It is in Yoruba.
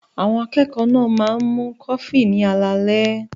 Àwọn akẹ́kọ̀ọ́ náà máa ń mu kọfí ní alaalẹ́.